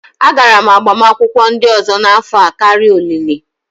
Agara m agbamakwụkwọ ndị ọzọ n'afọ a karịa olili